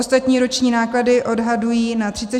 Ostatní roční náklady odhadují na 34 miliard.